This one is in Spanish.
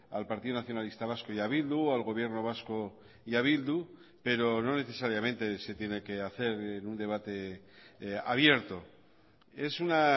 al partido nacionalista vasco y a bildu al gobierno vasco y a bildu pero no necesariamente se tiene que hacer un debate abierto es una